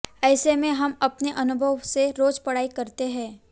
ऐसे में हम अपने अनुभव से रोज पढ़ाई करते हैं